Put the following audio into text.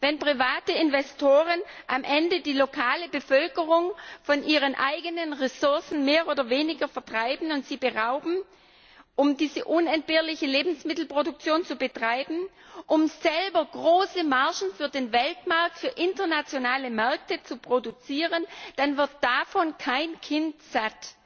Wenn private Investoren die lokale Bevölkerung am Ende von ihren eigenen Ressourcen mehr oder weniger vertreiben und sie dieser berauben, um diese unentbehrliche Lebensmittelproduktion selbst zu betreiben, um selber große Margen für den Weltmarkt, für internationale Märkte zu produzieren, dann wird davon kein Kind satt.